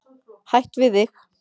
Hætt við þig.